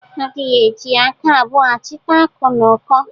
A dighi eji aka abụọ achịta akụ n'uko